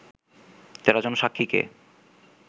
১৩ জন সাক্ষীকে